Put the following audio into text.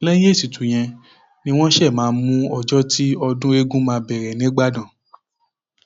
lẹyìn ètùtù yẹn ni wọn ṣẹṣẹ máa mú ọjọ tí ọdún eegun máa bẹrẹ nígbàdàn